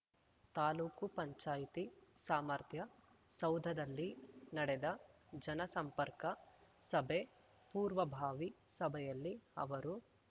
ತಾಲೂಕು ಪಂಚಾಯ್ತಿ ಸಾಮರ್ಥ್ಯ ಸೌಧದಲ್ಲಿ ನಡೆದ ಜನಸಂಪರ್ಕ ಸಭೆ ಪೂರ್ವಭಾವಿ ಸಭೆಯಲ್ಲಿ ಅವರು